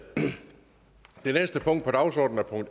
valgt at